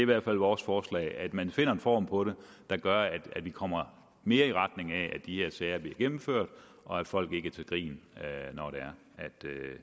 hvert fald vores forslag at man finder en form på det der gør at vi kommer mere i retning af at de her sager bliver gennemført og at folk ikke er til grin når